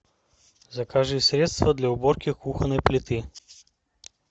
закажи средство для уборки кухонной плиты